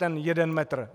Ten jeden metr?